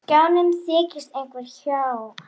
Á skjánum þykist einhver há